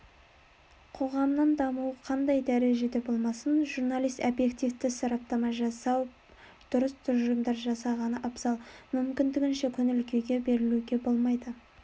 қоғамның дамуы қандай дәрежеде болмасын журналист обьективті сараптама жасап дұрыс тұжырымдар жасағаны абзал мүмкіндігінше көңіл-күйге берілуге болмайды